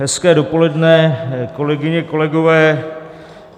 Hezké dopoledne, kolegyně, kolegové.